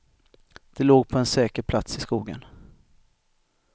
Det låg på en säker plats i skogen.